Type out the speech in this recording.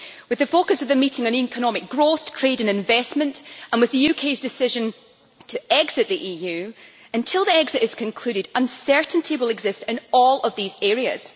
With the focus of the meeting on economic growth, trade and investment, and with the UK's decision to exit the EU, until that exit is concluded, uncertainty will exist in all of these areas.